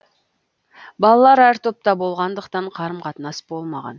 балалар әр топта болғандықтан қарым қатынас болмаған